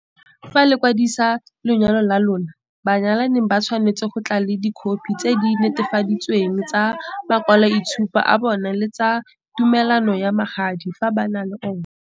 Fa le kwadisa lenyalo la lona, banyalani ba tshwanetse go tla ka dikhophi tse di netefaleditsweng tsa makwalo itshupo a bona le tsa tumelano ya magadi, fa ba na le yona.